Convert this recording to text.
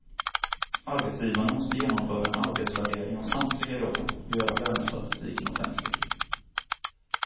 Arbetsgivarna måste genomföra en arbetsvärdering av samtliga jobb och göra lönestatistiken offentlig.